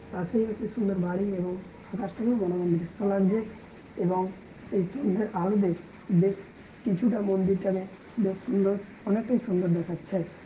পাশেই একটি সুন্দর বাড়ি এবং আকাশটাকেও মনোরম দৃশ্য লাগছে এবং সেই সন্ধ্যের আলোতে বেশ কিছুটা মন্দিরটাকে বেশ সুন্দর অনেকটাই সুন্দর দেখাচ্ছে।